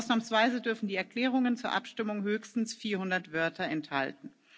Ausnahmsweise dürfen die Erklärungen zur Abstimmung höchstens 400 Wörter enthalten.